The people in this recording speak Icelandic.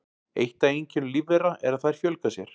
Eitt af einkennum lífvera er að þær fjölga sér.